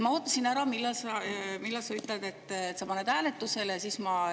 Ma ootasin ära, millal sa ütled, et sa paned hääletusele, siis ma …